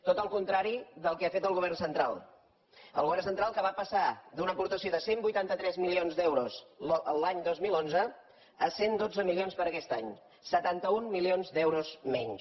tot el contrari del que ha fet el govern central el govern central que va passar d’una aportació de cent i vuitanta tres milions d’euros l’any dos mil onze a cent i dotze milions per a aquest any setanta un milions d’euros menys